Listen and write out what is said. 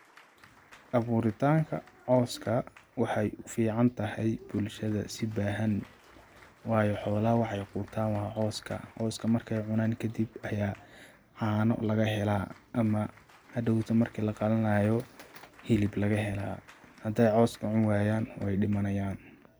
Aburitanka coska waxay uficantahay bulshada si bahan, wayo xolaha waxay qutan wa coska, coska markay cunan kadib aya cano lagahela ama hadowtu marki laqalanayo hilib laga hela haday cos cuniwayan way dimanayan.